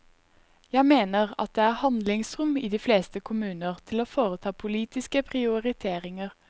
Jeg mener at det er handlingsrom i de fleste kommuner til å foreta politiske prioriteringer.